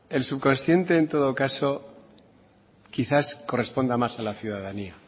el subconsciente en todo caso quizás corresponda más a la ciudadanía